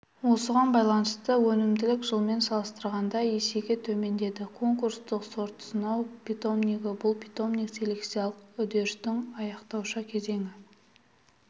осыған байланысты өнімділік жылмен салыстырғанда есеге төмендеді конкурстық сортсынау питомнигі бұл питомник селекциялық үдерістің аяқтаушы кезеңі